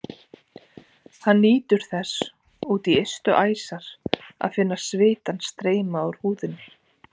Hann nýtur þess út í ystu æsar að finna svitann streyma úr húðinni.